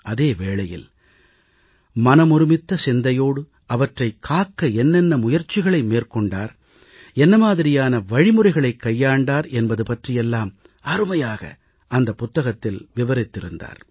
அதே வேளையில் மனமொருமித்த சிந்தையோடு அவற்றைக் காக்க என்ன என்ன முயற்சிகளை மேற்கொண்டார் என்ன மாதிரியான வழிமுறைகளைக் கையாண்டார் என்பது பற்றியெல்லாம் அருமையாக அந்தப் புத்தகத்தில் விவரித்திருந்தார்